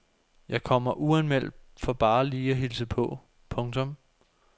Jeg kommer uanmeldt for bare lige at hilse på. punktum